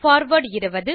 forward 20